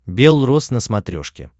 бел роз на смотрешке